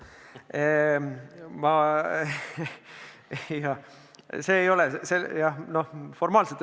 Ega need põhimõtteliselt ju ei erine.